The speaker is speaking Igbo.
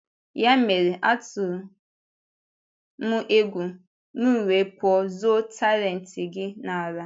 Ya mere, atụrụ m egwu, m wee pụọ zoo talent gị n’ala.